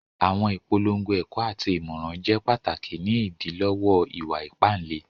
Àwọn ìpọ̀lọ́ngọ̀ ẹ̀kọ̀ àti ìmọ̀ràn jẹ́ pàtákì ní ìdílọ̀wọ̀ ìwà-ìpà ìlẹ̀.